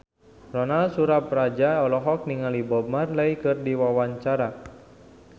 Ronal Surapradja olohok ningali Bob Marley keur diwawancara